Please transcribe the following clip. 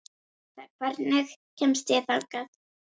Janetta, hvernig kemst ég þangað?